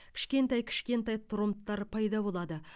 кішкентай кішкентай тромбтар пайда болады